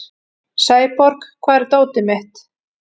Sæborg, hvar er dótið mitt?